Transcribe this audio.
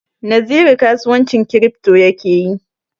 Naziru kasuwancin kiripto ya ke yi.